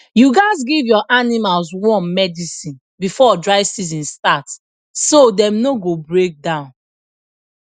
you gats give your animals worm medicine before dry season start so dem no go break down